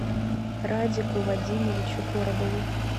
радику вадимовичу коробову